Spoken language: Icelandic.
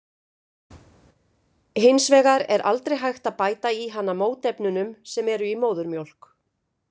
Hins vegar er aldrei hægt að bæta í hana mótefnunum sem eru í móðurmjólk.